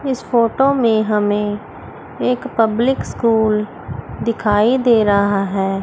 इस फोटो में हमें एक पब्लिक स्कूल दिखाई दे रहा है।